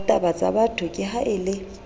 hatabatsabatho ke ha a le